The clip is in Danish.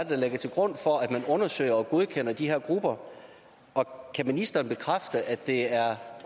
der ligger til grund for at man undersøger og godkender de her grupper og kan ministeren bekræfte at det er